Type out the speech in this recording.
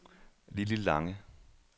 Lilli Lange